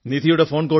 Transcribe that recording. phone call അവസാനിച്ചു